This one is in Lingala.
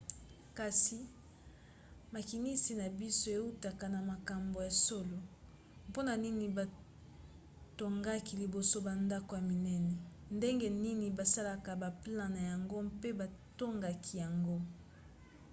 kasi makinisi na biso eutaka na makambo ya solo? mpona nini batongaki liboso bandako ya minene? ndenge nini basalaka baplan na yango pe batongaki yango?